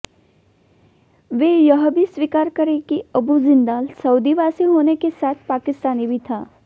वे यह भी स्वीकार करें कि अबू जिंदाल सऊदीवासी होने के साथ पाकिस्तानी भी था